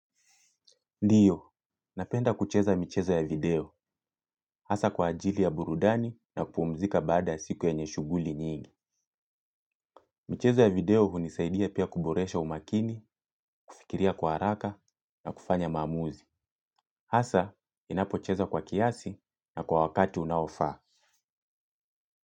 Ndio, napenda kucheza michezo ya video, hasa kwa ajili ya burudani na kupumzika baada siku yenye shughuli nyingi. Michezo ya video hunisaidia pia kuboresha umakini, kufikiria kwa haraka na kufanya maamuzi. Hasa, ninapocheza kwa kiasi na kwa wakati unaofaa.